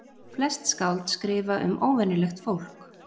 Flest skáld skrifa um óvenjulegt fólk.